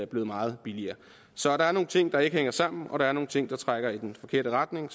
blevet meget billigere så der er nogle ting der ikke hænger sammen og der er nogle ting der trækker i den forkerte retning